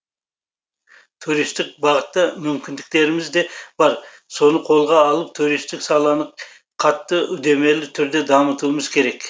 туристік бағытта мүмкіндіктеріміз де бар соны қолға алып туристік саланы қатты үдемелі түрде дамытуымыз керек